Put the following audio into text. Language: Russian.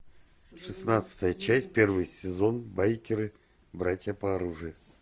шестнадцатая часть первый сезон байкеры братья по оружию